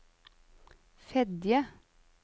Fedje